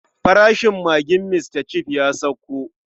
Farashin magin Mr Chef ya sauko.